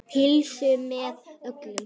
Pulsu með öllu.